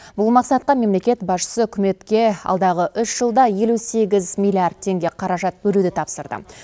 бұл мақсатқа мемлекет басшысы үкіметке алдағы үш жылда елу сегіз миллиард теңге қаражат бөлуді тапсырды